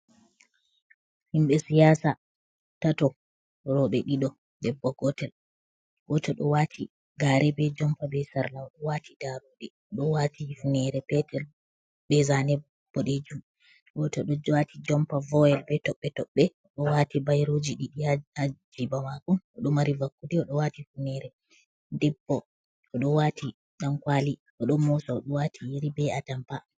Himɓɓe siyasa tato roɓɓe ɗiɗo debbo gotel, gotel ɗo wati gare be jompa be sarla odo wati darude odo wati hifnere petel be zane ɓodejum, gotel ɗo wati jompa voyel be toɓɓe toɓɓe ɗo wati bayriji ɗiɗi ha jiba mako oɗo mari vakkude oɗo wati hifnere, debbo to ɗo wati ɗankwali oɗo mosa oɗo wati yeri be atampa.